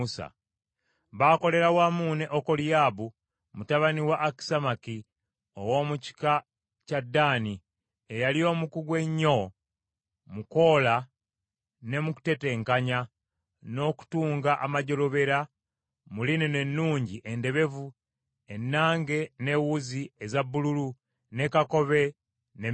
baakolera wamu ne Okoliyaabu, mutabani wa Akisamaki ow’omu kika kya Ddaani, eyali omukugu ennyo mu kwola ne mu kutetenkanya, n’okutunga amajjolobera mu linena ennungi endebevu ennange n’ewuzi eza bbululu ne kakobe ne myufu.